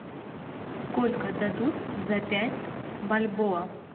сколько дадут за пять бальбоа